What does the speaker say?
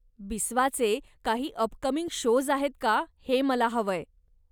बिस्वाचे काही upcoming shows आहेत का हे मला हवंय.